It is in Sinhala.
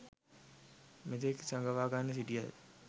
මෙතෙක් සඟවාගෙන සිටියද